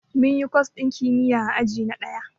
Munyi kwas ɗin kimiyya a aji na ɗaya